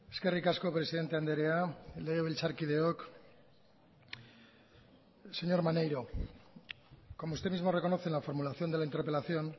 eskerrik asko presidente andrea legebiltzarkideok señor maneiro como usted mismo reconoce en la formulación de la interpelación